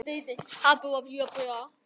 Kjartan: Er nikótín í þeim eða ekki?